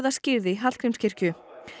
skírð í Hallgrímskirkju